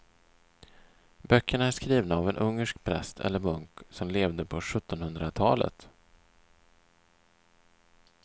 Böckerna är skrivna av en ungersk präst eller munk som levde på sjuttonhundratalet.